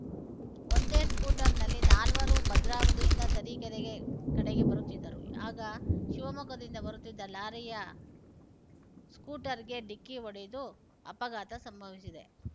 ಒಂದೇ ಸ್ಕೂಟರ್‌ನಲ್ಲಿ ನಾಲ್ವರೂ ಭದ್ರಾವತಿಯಿಂದ ತರೀಕೆರೆಗೆ ಕಡೆಗೆ ಬರುತ್ತಿದ್ದರು ಆಗ ಶಿವಮೊಗ್ಗದಿಂದ ಬರುತ್ತಿದ್ದ ಲಾರಿಯ ಸ್ಕೂಟರ್‌ಗೆ ಡಿಕ್ಕಿ ಹೊಡೆದು ಅಪಘಾತ ಸಂಭವಿಸಿದೆ